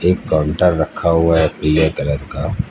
एक काउंटर रखा हुआ है पीले कलर का--